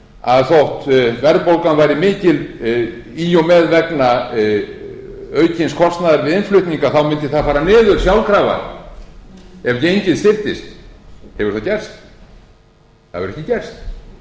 að þótt verðbólgan væri mikil í og með vegna aukins kostnaðar við innflutning þá mundi það fara niður sjálfkrafa ef gengið styrktist hefur það gerst það hefur ekki gerst varan hefur hækkað en